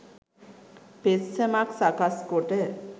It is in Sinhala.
පෙත්සමක්‌ සකස්‌ කොට